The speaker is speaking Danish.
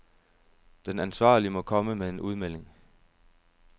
Den ansvarlige må komme med en udmelding.